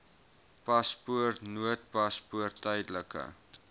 paspoort noodpaspoort tydelike